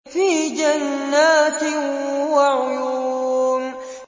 فِي جَنَّاتٍ وَعُيُونٍ